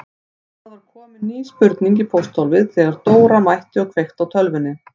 Það var komin ný spurning í pósthólfið þegar Dóra mætti og kveikti á tölvunni.